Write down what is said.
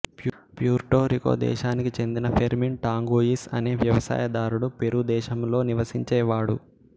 Puerto Rico దేశానికి చెందిన Fermin Tanguis అనే వ్యవసాయదారుడు పెరూ దేశంలో నివసించేవాడు